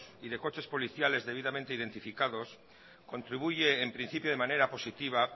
y de coches policiales debidamente identificados contribuye en principio de manera positiva